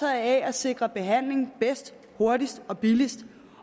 af at sikre behandling bedst hurtigst og billigst